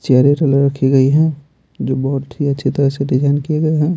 रखी गई है जो बहुत ही अच्छी तरह से डिजाइन किए गए हैं।